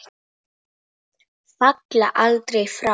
Falla aldrei frá.